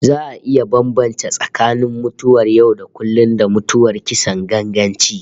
Za a iya bambance tsakanin mutuwar yau-da-kullum, da mutuwar kisan ganganci